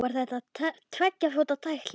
Var þetta tveggja fóta tækling?